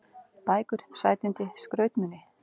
Bækur, sætindi, skrautmuni.